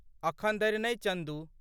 अखन धरि नहि, चन्दू।